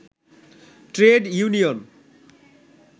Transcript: trade union